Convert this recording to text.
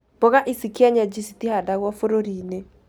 Mboga cia kĩenyeji citihandagwo bũrũri-inĩ